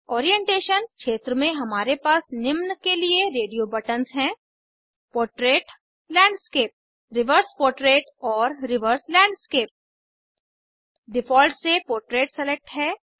orientation क्षेत्र में हमारे पास निम्न के लिए रेडियो बटन्स हैं पोर्ट्रेट लैंडस्केप रिवर्स पोर्ट्रेट और रिवर्स लैंडस्केप डिफ़ॉल्ट से पोर्ट्रेट सेलेक्ट है